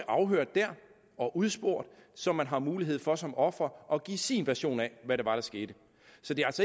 afhørt der og udspurgt så man har mulighed for som offer at give sin version af hvad det var der skete så det